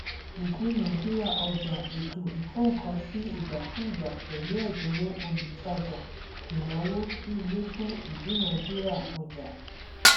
ìdúnadúrà ọjà ètò ìkónǹkansíìgbàkúgbà pẹlú ẹdínwó olútajà ìnáwó gbígbé fún ìdúnadúrà ọjà